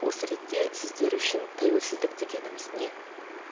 осы ретте сіздер үшін тәуелсіздік дегеніміз не